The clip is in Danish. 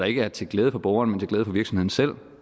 ikke er til glæde for borgerne men til glæde for virksomheden selv